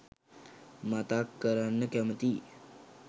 මතක් කරන්න කැමතියි.